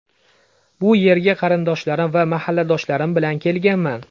Bu yerga qarindoshlarim va mahalladoshlarim bilan kelganman.